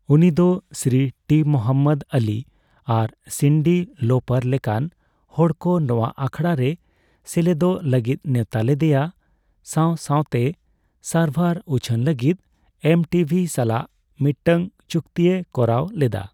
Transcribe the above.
ᱩᱱᱤ ᱫᱚ ᱥᱨᱤ ᱴᱤ ᱢᱚᱦᱚᱢᱢᱚᱫ ᱟᱞᱤ ᱟᱨ ᱥᱤᱱᱰᱤ ᱞᱚᱯᱟᱨ ᱞᱮᱠᱟᱱ ᱦᱚᱲᱠᱚ ᱱᱚᱣᱟ ᱟᱠᱷᱲᱟ ᱨᱮ ᱥᱮᱞᱮᱫᱚᱜ ᱞᱟᱜᱤᱫ ᱱᱮᱣᱛᱟ ᱞᱮᱫᱮᱭᱟ, ᱥᱟᱣ ᱥᱟᱣᱛᱮ ᱥᱟᱨᱵᱷᱟᱨ ᱩᱪᱷᱟᱹᱱ ᱞᱟᱜᱤᱫ ᱮᱢᱴᱤᱵᱷᱤ ᱥᱟᱞᱟᱜ ᱢᱤᱴᱟᱝ ᱪᱩᱠᱛᱤᱭ ᱠᱚᱨᱟᱣ ᱞᱮᱫᱟ ᱾